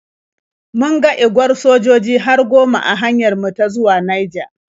Mun ga igwar sojoji har goma a hanyar mu ta zuwa Naija.